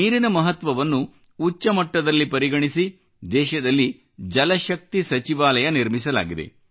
ನೀರಿನ ಮಹತ್ವವನ್ನು ಉಚ್ಚಮಟ್ಟದಲ್ಲಿ ಪರಿಗಣಿಸಿ ದೇಶದಲ್ಲಿ ಜಲಶಕ್ತಿ ಸಚಿವಾಲಯ ನಿರ್ಮಿಸಲಾಗಿದೆ